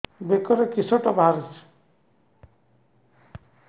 ବେକରେ କିଶଟା ବାହାରିଛି